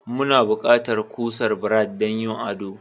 Muna buƙatar kusar Brad don yin ado.